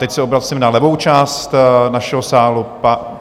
Teď se obracím na levou část našeho sálu.